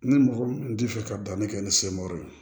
Ni mɔgɔ min t'i fɛ ka danni kɛ ni ye